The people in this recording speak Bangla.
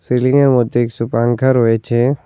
রেলিংর মধ্যে কিছু পাংখা রয়েছে।